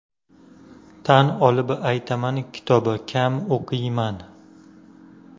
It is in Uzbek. Tan olib aytaman kitob kam o‘qiyman.